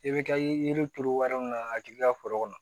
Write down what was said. I bɛ taa yiri turu wari min na ka k'i ka foro kɔnɔ